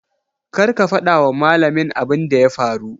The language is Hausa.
Kar ka fada wa malamin abun da ya faru.